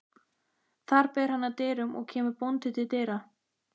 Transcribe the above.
Þar ber hann að dyrum og kemur bóndi til dyra.